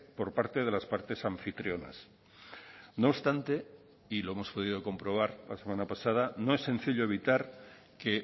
por parte de las partes anfitrionas no obstante y lo hemos podido comprobar la semana pasada no es sencillo evitar que